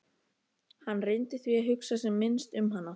Hann dansaði um og söng: Tvo daga, tvo daga